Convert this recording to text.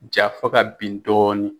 Ja fo ka bin dɔɔni.